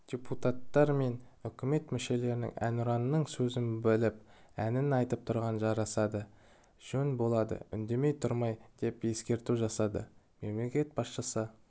депутаттар мен үкімет мүшелерінің әнұранның сөзін біліп әнін айтып тұрғаны жарасады жөн болады үндемей тұрмай деп ескерту жасады мемлекет басшысы